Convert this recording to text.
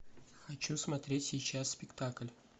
хочу смотреть сейчас спектакль